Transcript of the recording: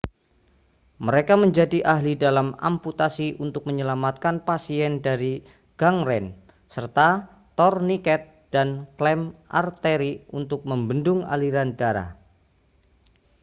mereka menjadi ahli dalam amputasi untuk menyelamatkan pasien dari gangren serta torniket dan klem arteri untuk membendung aliran darah